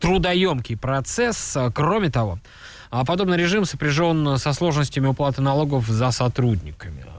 трудоёмкий процесс кроме того а подобный режим сопряжён со сложностями уплаты налогов за сотрудниками